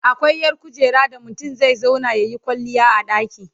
akwai ƴar kujera da mutum zai zauna yayi kwalliya a ɗaki